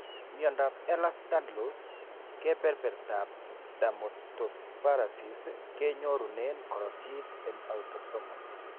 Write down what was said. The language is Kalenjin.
Miandab ehlers danlos, kebebertab dermatosparaxis kenyorunen korotik en autosomal